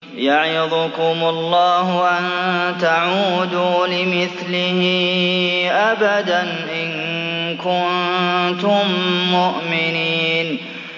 يَعِظُكُمُ اللَّهُ أَن تَعُودُوا لِمِثْلِهِ أَبَدًا إِن كُنتُم مُّؤْمِنِينَ